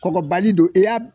Kɔbali don e y'a